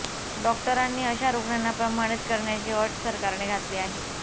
डॉक्टरांनी अशा रुग्णांना प्रमाणित करण्याची अट सरकारने घातली आहे